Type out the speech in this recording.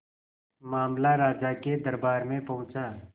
मामला राजा के दरबार में पहुंचा